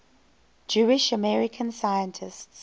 jewish american scientists